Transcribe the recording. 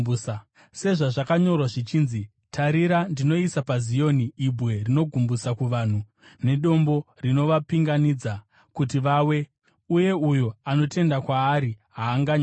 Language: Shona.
Sezvazvakanyorwa zvichinzi: “Tarira, ndinoisa paZioni ibwe rinogumbusa kuvanhu, nedombo rinovapinganidza kuti vawe, uye uyo anotenda kwaari haazonyadziswi.”